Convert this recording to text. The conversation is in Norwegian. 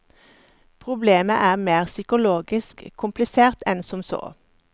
Problemet er mer psykologisk komplisert enn som så.